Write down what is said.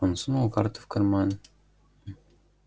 он сунул карту в карман